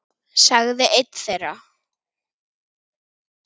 sagði einn þeirra.